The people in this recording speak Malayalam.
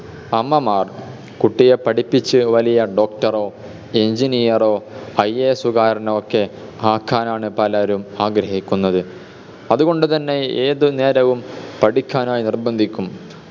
അമ്മമാർ കുട്ടിയെ പഠിപ്പിച്ച് വലിയ doctor ഓ engineer ഓ IAS കാരനോ ഒക്കെ ആക്കാനാണ് പലരും ആഗ്രഹിക്കുന്നത് അത് കൊണ്ട് തന്നെ ഏത് നേരവും പഠിക്കാനായി നിർബന്ധിക്കും